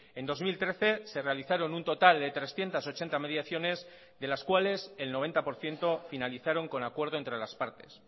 en dos mil trece se realizaron un total de trescientos ochenta mediaciones de las cuales el noventa por ciento finalizaron con acuerdo entre las partes